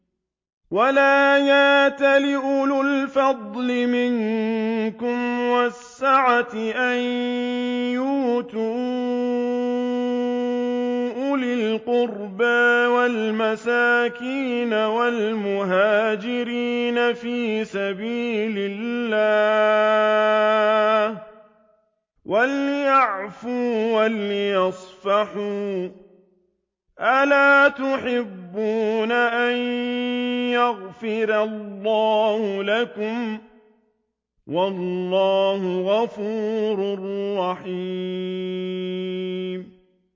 وَلَا يَأْتَلِ أُولُو الْفَضْلِ مِنكُمْ وَالسَّعَةِ أَن يُؤْتُوا أُولِي الْقُرْبَىٰ وَالْمَسَاكِينَ وَالْمُهَاجِرِينَ فِي سَبِيلِ اللَّهِ ۖ وَلْيَعْفُوا وَلْيَصْفَحُوا ۗ أَلَا تُحِبُّونَ أَن يَغْفِرَ اللَّهُ لَكُمْ ۗ وَاللَّهُ غَفُورٌ رَّحِيمٌ